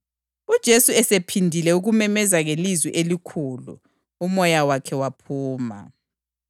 UJesu esephindile ukumemeza ngelizwi elikhulu, umoya wakhe waphuma.